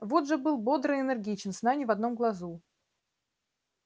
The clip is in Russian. вуд же был бодр и энергичен сна ни в одном глазу